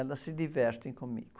Elas se divertem comigo.